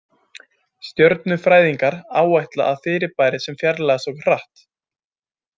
Stjörnufræðingar áætla að fyrirbæri sem fjarlægjast okkur hratt.